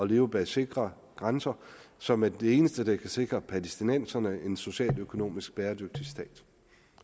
liv bag sikre grænser som er det eneste der kan sikre palæstinenserne en socialt og økonomisk bæredygtig stat